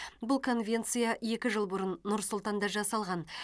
бұл конвенция екі жыл бұрын нұр сұлтанда жасалған